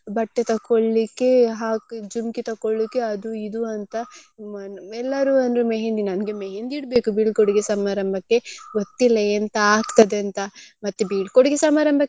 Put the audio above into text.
ಬಟ್ಟೆ ತಕೊಳ್ಳಿಕ್ಕೆ ಹಾಗೆ ಜುಮ್ಕಿ ತಕೊಳ್ಳಿಕ್ಕೆ ಅದು ಇದು ಅಂತ ಎಲ್ಲರೂ ಅಂದ್ರು मेहंदी ನಮ್ಗೆ मेहंदी ಇಡ್ಬೇಕು ಬೀಳ್ಕೊಡುಗೆ ಸಮಾರಂಭಕ್ಕೆ ಗೊತ್ತಿಲ್ಲ ಎಂತ ಆಗ್ತದೆ ಅಂತ ಮತ್ತೆ ಬೀಳ್ಕೊಡುಗೆ ಸಮಾರಂಭಕ್ಕೆ.